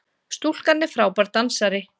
Stúlkan frábær dansari!